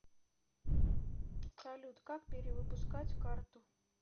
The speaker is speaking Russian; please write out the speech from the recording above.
салют как перевыпускать карту